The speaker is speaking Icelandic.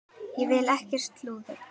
Ég vil ekkert slúður.